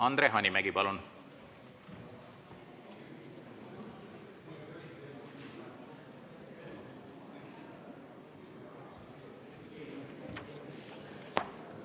Andre Hanimägi, palun!